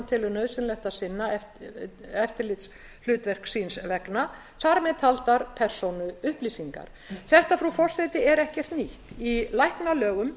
telur nauðsynleg til að sinna eftirlitshlutverks síns vegna þar með taldar persónuupplýsingar þetta frú forseti er ekkert nýtt í læknalögum